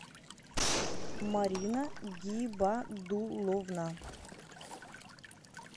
марина гибадулловна